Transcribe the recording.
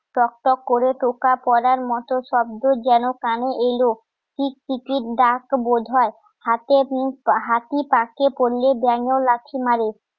টক টক করে টোকা পড়ার মতো শব্দ যেন কানে এলো টিকটিকির ডাক বোধ হয় হাতে মুখ, হাতিপাকে পড়লে ব্যাঙেও লাথি মারে